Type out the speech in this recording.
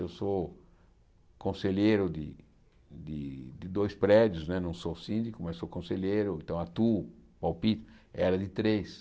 Eu sou conselheiro de de de dois prédios não é, não sou síndico, mas sou conselheiro, então atuo, palpito, era de três.